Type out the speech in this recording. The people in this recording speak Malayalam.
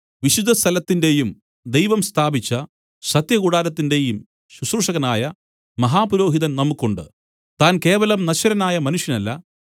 വിശുദ്ധസ്ഥലത്തിന്റെയും ദൈവം സ്ഥാപിച്ച സത്യകൂടാരത്തിന്റെയും ശുശ്രൂഷകനായ മഹാപുരോഹിതൻ നമുക്കുണ്ട് താൻ കേവലം നശ്വരനായ മനുഷ്യനല്ല